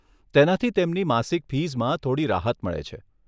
તેનાથી તેમની માસિક ફીઝમાં થોડી રાહત મળે છે.